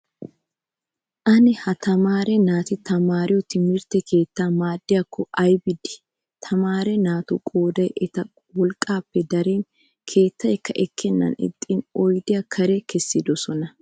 Ane ha tamaare naati taamariyoo timirtte keettaa maaddiyaakko ayibi de''ii. tamaare naatu qoodayi eta wolqqappe darin keettayikka ekkeennan ixxin oyidiyaa kare kessidosona.